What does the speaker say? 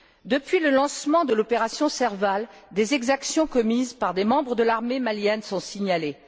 Depuis le lancement de l'opération Serval, des exactions commises par des membres de l'armée malienne sont signalées.